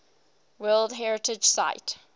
world heritage site